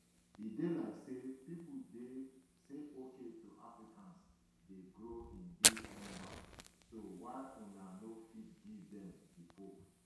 e dey like say pipo dey say okay so africans dey grow in these numbers so why una no fit give dem di pope